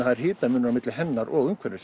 er hitamunur á milli hennar og umhverfis